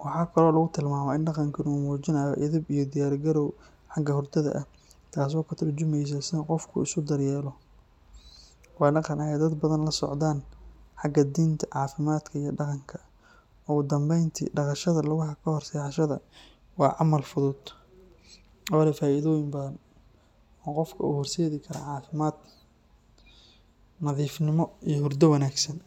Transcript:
Waxaa kaloo lagu tilmaamaa in dhaqankani uu muujinayo edeb iyo diyaar garow xagga hurdada ah, taasoo ka tarjumeysa sida qofku isu daryeelo. Waa dhaqan ay dad badani la socdaan xagga diinta, caafimaadka iyo dhaqanka. Ugu dambeyntii, dhaqashada lugaha kahor seexashada waa camal fudud oo leh faa’iidooyin badan oo qofka u horseedi kara caafimaad, nadiifnimo iyo hurdo wanaagsan.